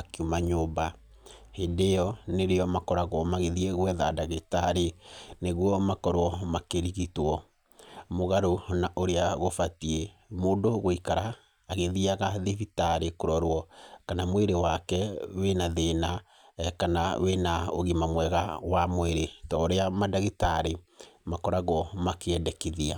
akiuma nyũmba. Hĩndĩ ĩyo nĩrĩo makoragwo magĩthiĩ gwetha ndagĩtarĩ nĩguo makorwo makĩrigitwo mũgarũ na ũrĩa gũbatiĩ. Mũndũ gũikara agĩthiaga thibitarĩ kũrorwo kana mwĩrĩ wake wĩna thĩna kana wĩna ũgima mwega wa mwĩrĩ, ta ũrĩa mandagĩtarĩ makoragwo makĩendekithia.